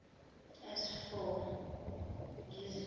as for ngizihluphe